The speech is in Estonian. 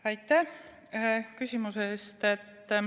Aitäh küsimuse eest!